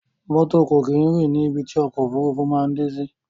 Mọ́tò kò kí n rìn ní ibi tí ọ̀kọ̀ ofúrufú maa n dé sí